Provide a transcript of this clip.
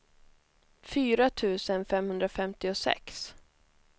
fyra tusen femhundrafemtiosex